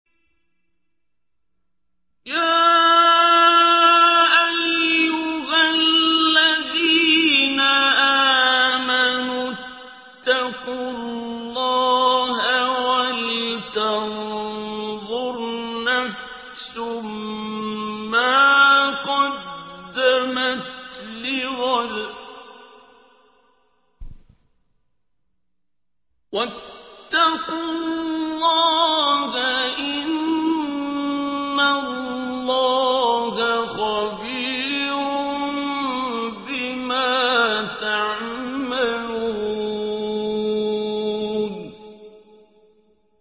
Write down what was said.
يَا أَيُّهَا الَّذِينَ آمَنُوا اتَّقُوا اللَّهَ وَلْتَنظُرْ نَفْسٌ مَّا قَدَّمَتْ لِغَدٍ ۖ وَاتَّقُوا اللَّهَ ۚ إِنَّ اللَّهَ خَبِيرٌ بِمَا تَعْمَلُونَ